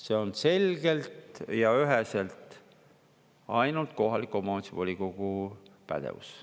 See on selgelt ja üheselt ainult kohaliku omavalitsuse volikogu pädevus.